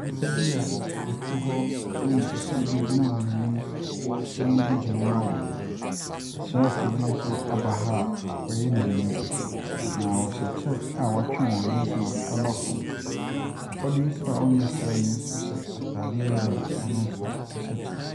Nnipa bi a wɔte hɔ na nnipakuo bi gyina wɔn anim na wɔredi dwuma ama wɔn. Asrafoɔ bi nso aba ha a wɔyɛ mmienu na ɔhyɛ kyɛ a wɔatwe wɔn nose mask aba fam. Papa bi nso a ɔnnyɛ ɔsrani nso hyɛ ataadeɛ yellow a ɔno nso ɔhyɛ kyɛ.